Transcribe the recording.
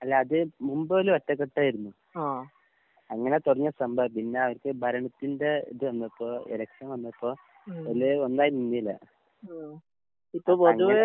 അല്ല അത് മുമ്പ് മൊതല് ഒറ്റക്കെട്ടായിരുന്നു. അങ്ങനെ തൊടങ്ങിയ സംഭവാ. പിന്നെ അവർക്ക് ഭരണത്തിന്റെ ഇത് വന്നപ്പോ എലെക്ഷൻ വന്നപ്പോൾ എല്ലാരും ഒന്നായി നിന്നില്ല. അപ്പങ്ങനെ